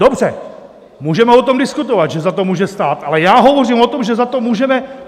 Dobře, můžeme o tom diskutovat, že za to může stát, ale já hovořím o tom, že za to můžeme...